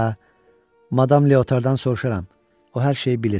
Hə, madam Leotardan soruşaram, o hər şeyi bilir.